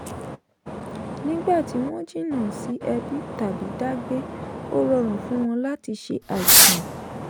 nígbà tí wọ́n jìnná sí ẹbí tàbí dá gbé ó rọrùn fún wọn láti ṣe àìsàn.